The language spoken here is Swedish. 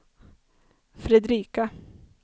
Fredrika